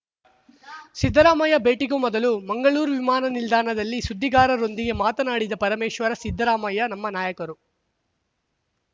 ಸಿದ್ದರಾಮಯ್ಯ ಭೇಟಿಗೂ ಮೊದಲು ಮಂಗಳೂರು ವಿಮಾನನಿಲ್ದಾಣದಲ್ಲಿ ಸುದ್ದಿಗಾರರೊಂದಿಗೆ ಮಾತನಾಡಿದ ಪರಮೇಶ್ವರ್‌ ಸಿದ್ದರಾಮಯ್ಯ ನಮ್ಮ ನಾಯಕರು